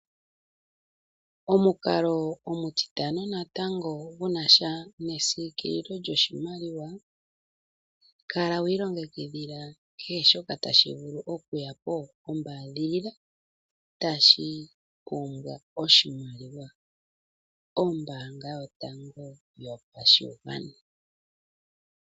Omukalo omutitano natango gunasha nesiikililo lyoshimaliwa kala wiilongekidhila kehe shoka tashi vulu oku yapo ombaadhilila tashi pumbwa oshimaliwa . Ombaanga yotango yopashigwana